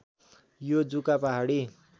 यो जुका पहाडी